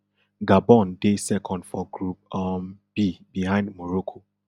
gabon dey second for group um b behind morocco